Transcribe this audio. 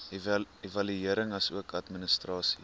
evaluering asook administrasie